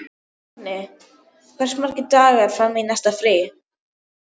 Högni, hversu margir dagar fram að næsta fríi?